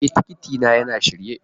E, tikiti na yana shirye.